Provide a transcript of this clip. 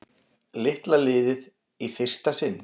Litla liðið í fyrsta sinn